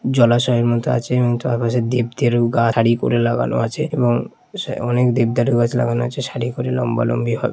জলাশয়ের মতো আছে এবং তার পাশে দেবদেরু গাছ হারি করে লাগানো আছে এবং অনেক দেবদারু গাছ লাগানো আছে সারি করে লম্বা লম্বি ভাবে।